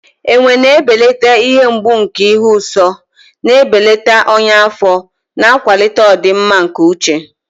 Ewe na-ebelata ihe mgbu nke ịhụ nsọ, na-ebelata ọnya afọ, na-akwalite ọdịmma nke uche.